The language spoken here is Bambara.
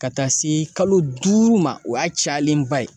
Ka taa se kalo duuru ma o y'a cayalenba ye